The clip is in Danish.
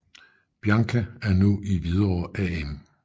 Bianca er nu i Hvidovre AM